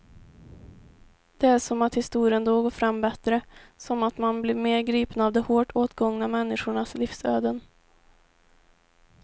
Det är som att historien då går fram bättre, som att man blir mer gripen av de hårt åtgångna människornas livsöden.